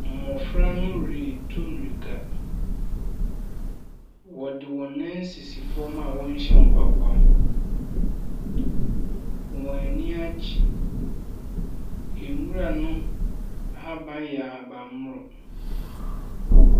Mmɔfra no retu mirika, wɔde wɔn nan sisi fam a wɔnhyɛ mpaboa. Wɔn ani agye, nwura no ahaban yɛ ahabanmono.